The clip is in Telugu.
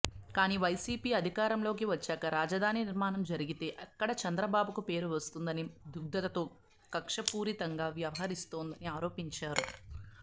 కానీ వైసీపీ అధికారంలోకి వచ్చాక రాజధాని నిర్మాణం జరిగితే ఎక్కడ చంద్రబాబుకు పేరు వస్తుందనే దుగ్ధతో కక్షపూరితంగా వ్యవహరిస్తోందని ఆరోపించారు